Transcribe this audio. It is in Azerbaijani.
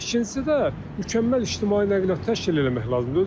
İkincisi də mükəmməl ictimai nəqliyyat təşkil eləmək lazımdır.